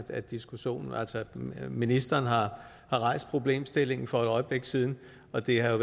at ministeren rejste problemstillingen for et øjeblik siden og at det er